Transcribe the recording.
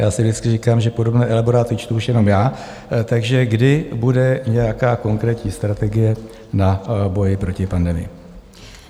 Já si vždycky říkám, že podobné elaboráty čtu už jenom já, takže kdy bude nějaká konkrétní strategie na boj proti pandemii?